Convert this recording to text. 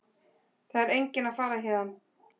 Það er enginn að fara héðan.